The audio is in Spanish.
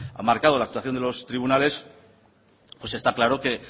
ha marcado la actuación de los tribunales pues está claro que